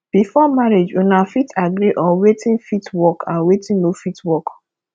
before marriage una fit agree on wetin fit work and wetin no fit work